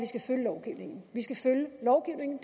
skal følge lovgivningen vi skal følge lovgivningen